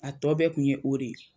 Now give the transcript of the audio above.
A tɔ bɛɛ kun ye o de ye